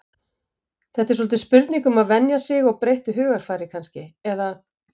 Þetta er svolítið spurning um að venja sig og breyttu hugarfari kannski eða?